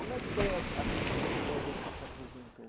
Como é que foi ãh a a primeira vez que você se apresentou?